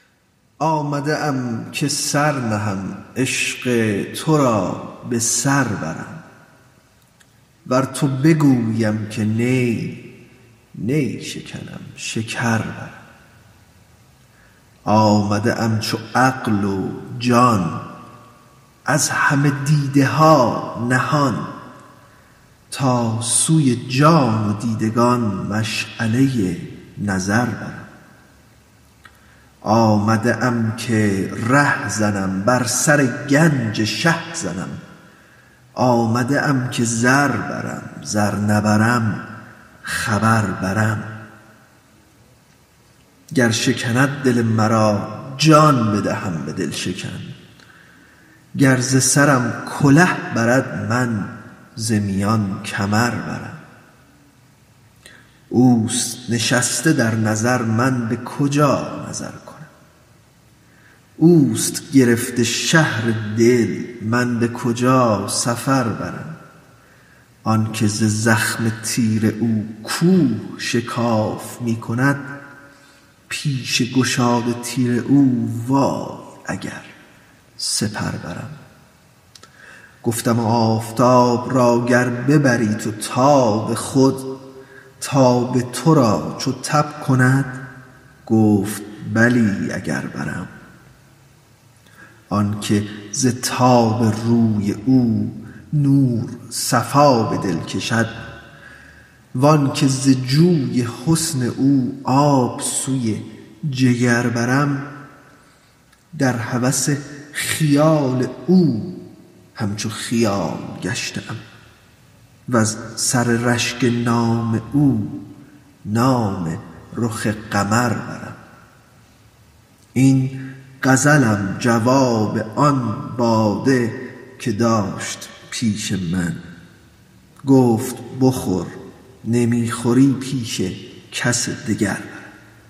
آمده ام که سر نهم عشق تو را به سر برم ور تو بگوییم که نی نی شکنم شکر برم آمده ام چو عقل و جان از همه دیده ها نهان تا سوی جان و دیدگان مشعله نظر برم آمده ام که ره زنم بر سر گنج شه زنم آمده ام که زر برم زر نبرم خبر برم گر شکند دل مرا جان بدهم به دل شکن گر ز سرم کله برد من ز میان کمر برم اوست نشسته در نظر من به کجا نظر کنم اوست گرفته شهر دل من به کجا سفر برم آنک ز زخم تیر او کوه شکاف می کند پیش گشاد تیر او وای اگر سپر برم گفتم آفتاب را گر ببری تو تاب خود تاب تو را چو تب کند گفت بلی اگر برم آنک ز تاب روی او نور صفا به دل کشد و آنک ز جوی حسن او آب سوی جگر برم در هوس خیال او همچو خیال گشته ام وز سر رشک نام او نام رخ قمر برم این غزلم جواب آن باده که داشت پیش من گفت بخور نمی خوری پیش کسی دگر برم